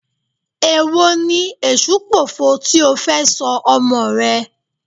Èwo ni Èṣùpòfo tí ó fẹ́ sọ ọmọọ̀ rẹ?